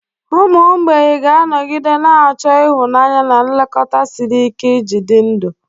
Ụmụ mgbei ga-anọgide na-achọ ịhụnanya na nlekọta siri ike iji dị ndụ.